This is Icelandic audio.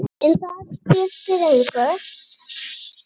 En það skiptir engu.